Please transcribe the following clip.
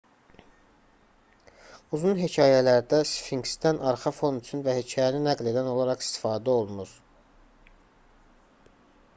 uzun hekayələrdə sfinksdən arxa fon üçün və hekayəni nəql edən olaraq istifadə olunur